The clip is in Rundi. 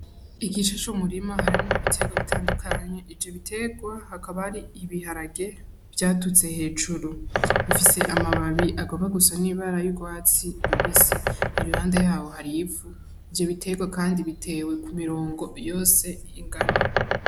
Igice c'umurima harimwo ibiterwa bitandukanye, ivyo biterwa hakaba hari ibiharage vyaduze hejuru. Bifise amababi agomba gusa n'ibara y'urwatsi rubisi, iruhande yabo hari ivu, ivyo biterwa kandi bitewe ku mirongo yose ingana.